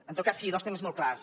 en tot cas sí dos temes molt clars